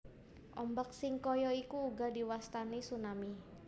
Ombak sing kaya iki uga diwastani tsunami